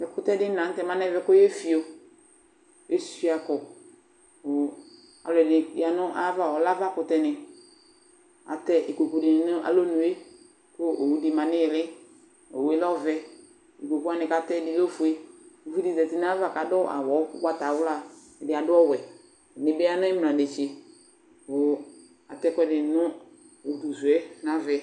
Ɛkutɛ dini la nutɛ muanɛ koéfio échuakɔ Ɔlɔdini yanu ayava , ɔlɛ ava kutɛni Aṭɛ ikpokpudini nu ayi uné ku oxu di ma nu ili Owué lɛ ɔʋɛ, ikpokpu kaatɛni lɛ ofué Uvidi zati na ka du awu ugbata wla, ɛdi adu ɔwɛ, ɛdi bi ya nu ina nétché atɛ ɛkuɛdi nu udu suɛ nu avaɛ